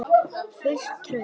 Fullt traust?